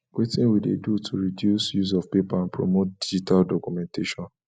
wetin we dey do to reduce use of paper and promote digital documentation